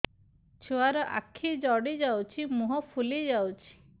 ଛୁଆର ଆଖି ଜଡ଼ି ଯାଉଛି ମୁହଁ ଫୁଲି ଯାଇଛି